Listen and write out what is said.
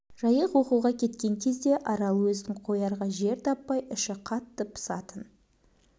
жайық оқуға кеткен кезде арал өзін қоярға жер таппай іші қатты пысатын